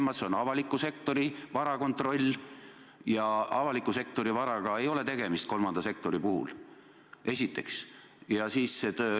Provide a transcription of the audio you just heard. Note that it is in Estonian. Tema ülesanne on avaliku sektori vara kontroll, ja avaliku sektori varaga kolmanda sektori puhul tegu ei ole.